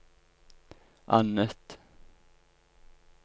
annet